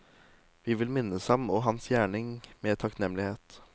Vi vil minnes ham og hans gjerning med takknemlighet.